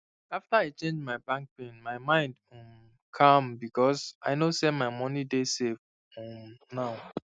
after i change my bank pin my mind um calm because i know say my money dey safe um now